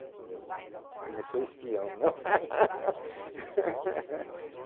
Mas não sou espião, não?